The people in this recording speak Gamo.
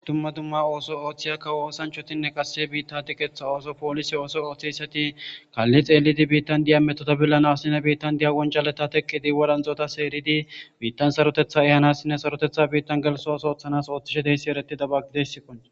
Dumma dumma ooso ooththiyakka oosanchotinne qasse biitta dikeththa ooso poolise ooso ooththeyssati kaalli xeelidi biittan diya metotabillanassine biittan diya wonjaleta teqkidi wadanxota seeridi biittan sarotetha ehanassinne sarotetha biittan gelsos ooththanas ooththishe deyssi eretida baggideyssikon.